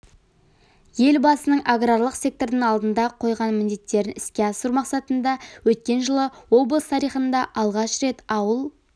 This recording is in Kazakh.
елбасының аграрлық сектордың алдында қойған міндеттерін іске асыру мақсатында өткен жылы облыс тарихында алғаш рет ауыл